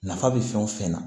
Nafa bɛ fɛn o fɛn na